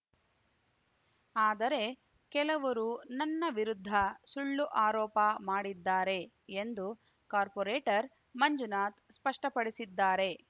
ಆದರೆ ಕೆಲವರು ನನ್ನ ವಿರುದ್ಧ ಸುಳ್ಳು ಆರೋಪ ಮಾಡಿದ್ದಾರೆ ಎಂದು ಕಾರ್ಪೋರೇಟರ್‌ ಮಂಜುನಾಥ್‌ ಸ್ಪಷ್ಟಪಡಿಸಿದ್ದಾರೆ